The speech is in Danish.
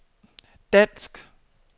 dansk